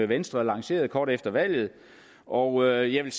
venstre lancerede kort efter valget og jeg vil